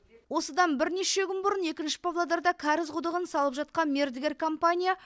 осыдан бірнеше күн бұрын екінші павлодарда кәріз құдығын салып жатқан мердігер компания